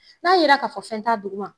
N'a yera k'a fɔ fɛn t'a duguma